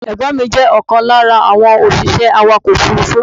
Ẹ̀gbọ́n mi jẹ́ ọ̀kan lára àwọn òṣìṣẹ́ awàkọ̀ òfúrúfú.